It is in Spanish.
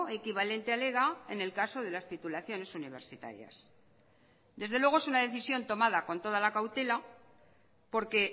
equivalente al ega en el caso de las titulaciones universitarias desde luego es una decisión tomada con toda la cautela porque